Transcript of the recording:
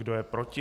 Kdo je proti?